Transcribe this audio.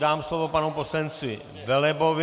Dám slovo panu poslanci Velebovi.